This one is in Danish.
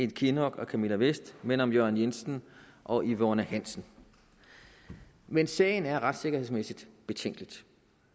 kinnock og camilla vest men om jørgen jensen og yvonne hansen men sagen er retssikkerhedsmæssigt betænkelig